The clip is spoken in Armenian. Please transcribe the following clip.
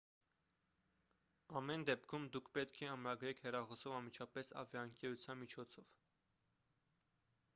ամեն դեպքում դուք պետք է ամրագրեք հեռախոսով անմիջապես ավիաընկերության միջոցով